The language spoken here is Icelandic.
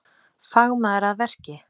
Fagmaður að verki